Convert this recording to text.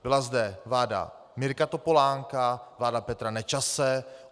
Byla zde vláda Mirka Topolánka, vláda Petra Nečase.